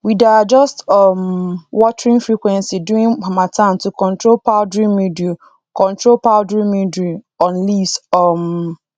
we dey adjust um watering frequency during harmattan to control powdery mildew control powdery mildew on leaves um